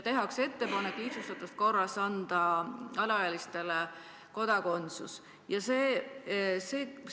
Tehakse ettepanek anda alaealistele Eesti kodakondsus lihtsustatud korras.